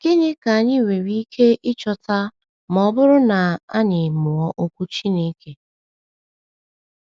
Gịnị ka anyị nwere ike ịchọta ma ọ bụrụ na anyị mụọ Okwu Chineke?